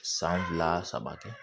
San fila saba kɛ